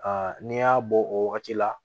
n'i y'a bɔ o wagati la